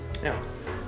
já